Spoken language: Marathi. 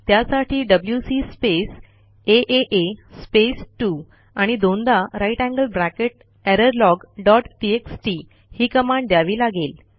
त्यासाठी डब्ल्यूसी स्पेस आ स्पेस 2 आणि दोनदा greater than sign error log dot TXT ही कमांड द्यावी लागेल